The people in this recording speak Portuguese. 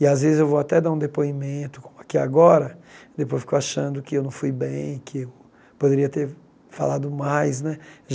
E, às vezes, eu vou até dar um depoimento, como aqui agora, depois eu fico achando que eu não fui bem, que eu poderia ter falado mais, né?